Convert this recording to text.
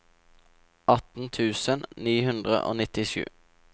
atten tusen ni hundre og nittisju